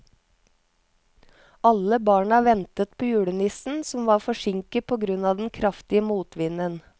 Alle barna ventet på julenissen, som var forsinket på grunn av den kraftige motvinden.